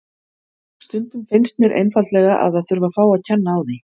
Stundum finnst mér einfaldlega að það þurfi að fá að kenna á því.